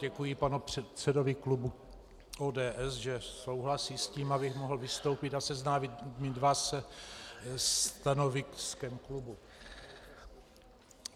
Děkuji panu předsedovi klubu ODS, že souhlasí s tím, abych mohl vystoupit a seznámit se stanoviskem klubu.